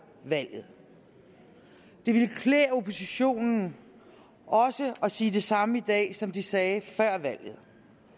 valget det ville klæde oppositionen også at sige det samme i dag som de sagde før valget